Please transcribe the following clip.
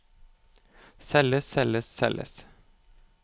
selges selges selges